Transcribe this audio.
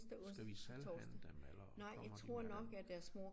Skal vi selv hente dem eller kommer de her?